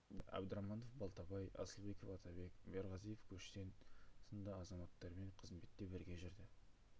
бұл қызметтерде абдраманов балтабай асылбеков атабек бөрғазиев көштен сынды азаматтармен қызметте бірге жүрді